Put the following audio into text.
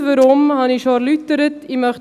Die Gründe dafür erläuterte ich schon.